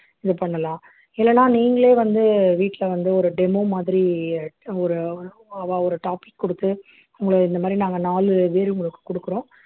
இது பண்ணலாம் இல்லைன்னா நீங்களே வந்து வீட்டுல வந்து ஒரு demo மாதிரி ஒரு அவா ஒரு topic கொடுத்து உங்களை இந்த மாதிரி நாங்க நாலு பேர் உங்களுக்கு கொடுக்கிறோம்